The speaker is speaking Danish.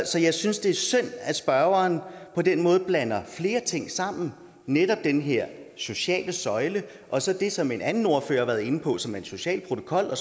så jeg synes det er synd at spørgeren på den måde blander flere ting sammen netop den her sociale søjle og så det som en anden ordfører har været inde på som er en social protokol og